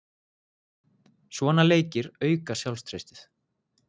Svona leikir auka sjálfstraustið.